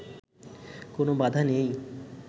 কোন বাধা নেই